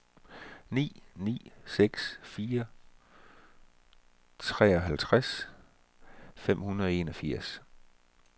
ni ni seks fire treoghalvtreds fem hundrede og enogfirs